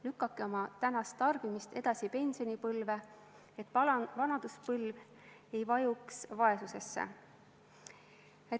Lükake oma tänast tarbimist edasi pensionipõlve, et vanaduspõlv ei vajuks vaesusesse.